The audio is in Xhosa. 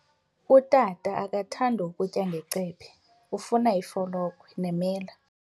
Utata akathandi kutya ngecephe, ufuna ifolokhwe nemela.